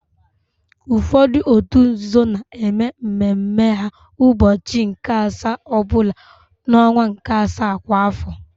Ụfọdụ òtù nzuzo na-eme mme mme ha ụbọchị nke asaa ọ bụla n'ọnwa nke asaa kwa afọ.